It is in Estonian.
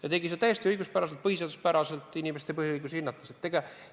Ja ta tegi seda täiesti õiguspäraselt, põhiseaduspäraselt, inimeste põhiõigustest lähtudes.